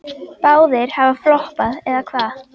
Báðir hafa floppað, eða hvað?